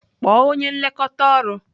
Kpọọ onye nlekọta ọrụ!